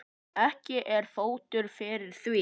Ekki er fótur fyrir því.